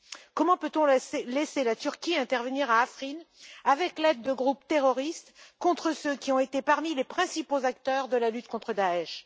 Comment peut on laisser la Turquie intervenir à Afrine avec l'aide de groupes terroristes contre ceux qui ont été parmi les principaux acteurs de la lutte contre Daech?